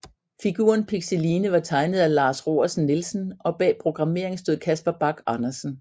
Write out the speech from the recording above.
Figuren Pixeline var tegnet af Lars Roersen Nielsen og bag programmeringen stod Casper Bach Andersen